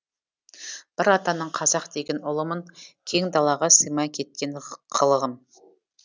бір атаның қазақ деген ұлымын кең далаға сыймай кеткен қылығым